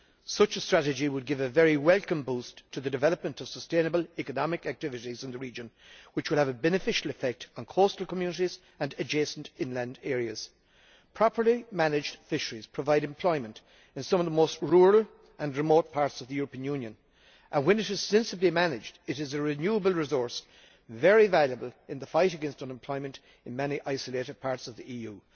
Such a strategy would give a very welcome boost to the development of sustainable economic activities in the region, which will have a beneficial effect on coastal communities and adjacent inland areas. Properly managed fisheries provide employment in some of the most rural and remote parts of the European Union and, when sensibly managed, this is a renewable resource that is very valuable in the fight against unemployment in many isolated parts of the EU.